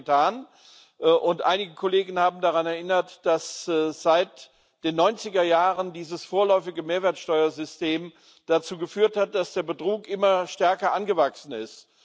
Das haben wir getan, und einige Kollegen haben daran erinnert, dass seit den 90er Jahren dieses vorläufige Mehrwertsteuersystem dazu geführt hat, dass der Betrug immer stärker angewachsen ist.